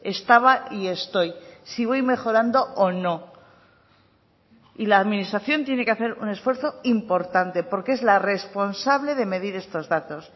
estaba y estoy si voy mejorando o no y la administración tiene que hacer un esfuerzo importante porque es la responsable de medir estos datos